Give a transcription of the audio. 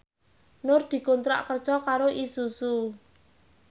Nur dikontrak kerja karo Isuzu